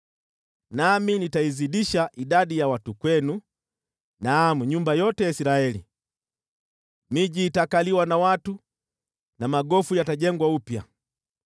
nami nitaizidisha idadi ya watu kwenu, naam, nyumba yote ya Israeli. Miji itakaliwa na watu na magofu yatajengwa upya.